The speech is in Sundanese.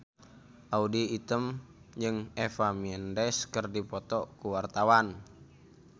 Audy Item jeung Eva Mendes keur dipoto ku wartawan